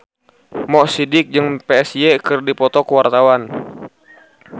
Mo Sidik jeung Psy keur dipoto ku wartawan